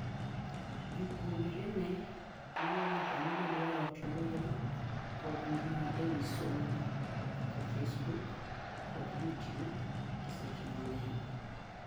jopuonjre ne nowacho ni gidwaro toyo kod mbui ei somo( kaka fesbuk kod yutiub) e seche mang'eny